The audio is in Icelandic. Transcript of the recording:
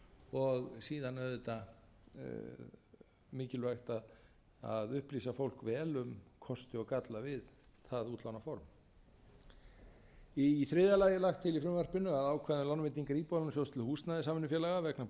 og síðan auðvitað mikilvægt að upplýsa fólk vel um kosti og galla við það útlánaform í þriðja lagi er lagt til í frumvarpinu að ákvæði um lánveitingu íbúðalánasjóðs til húsnæðissamvinnufélaga vegna